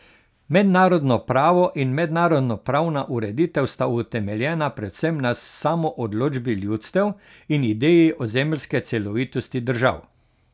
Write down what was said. Mednarodno pravo in mednarodnopravna ureditev sta utemeljena predvsem na samoodločbi ljudstev in ideji ozemeljske celovitosti držav.